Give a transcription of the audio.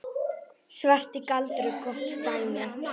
Svarti galdur er gott dæmi.